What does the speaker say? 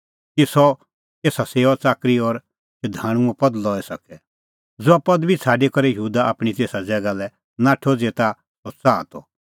कि सह एसा सेऊआच़ाकरी और शधाणूंओ पद लई सके ज़हा पदबी छ़ाडी करै यहूदा आपणीं तेसा ज़ैगा लै नाठअ ज़ेता सह च़ाहा त